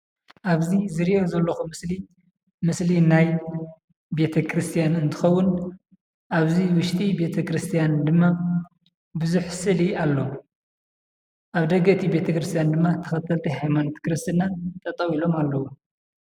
ኣብዚ ዝርእዮ ዘለኩ ምስሊ ምስሊ ናይ ቤተ-ክርስትያን እንትከውን ኣብዚ ውሽጢ ቤተ-ክርስትያን ድማ ቡዝሕ ስእሊ ኣሎ። ኣብ ደገ እቲ ቤተ-ክርስትያን ድማ ተከተልቲ ናይ ሃይማኖት ክርስትና ጠጠው ኢሎም ኣለው።